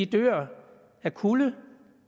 dør af kulde af